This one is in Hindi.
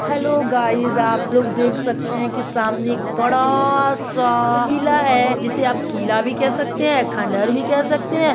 हेल्लो गाइस आप लोग देख सकते है कि सामने एक बड़ा सा किला है। जिसे आप किला भी कह सकते हैं। खंडहर भी कह सकते हैं।